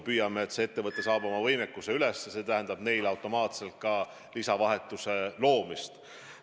Püüame sinnapoole, et see ettevõte saab oma võimekust tõsta, see tähendab neile automaatselt ka lisavahetuse loomist.